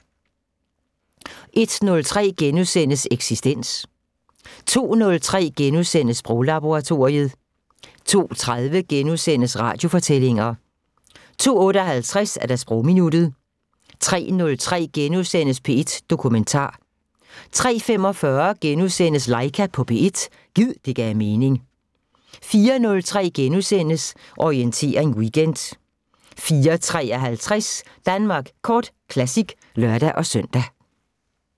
01:03: Eksistens * 02:03: Sproglaboratoriet * 02:30: Radiofortællinger * 02:58: Sprogminuttet 03:03: P1 Dokumentar * 03:45: Laika på P1 – gid det gav mening * 04:03: Orientering Weekend * 04:53: Danmark Kort Classic (lør-søn)